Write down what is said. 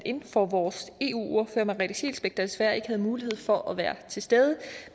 in for vores eu ordfører merete scheelsbeck der desværre ikke havde mulighed for at være til stede